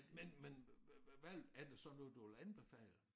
Men men hvad er det så noget du ville anbefale